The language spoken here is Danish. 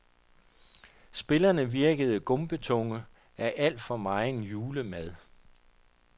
Spillerne virkede gumpetunge af for meget julemad.